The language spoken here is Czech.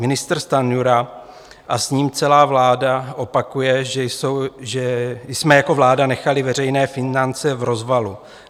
Ministr Stanjura a s ním celá vláda opakují, že jsme jako vláda nechali veřejné finance v rozvalu.